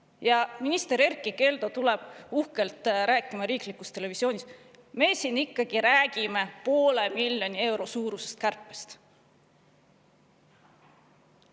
Ja siis tuleb minister Erkki Keldo uhkelt rääkima riiklikus televisioonis, et nad ikkagi räägivad poole miljoni euro suurusest kärpest.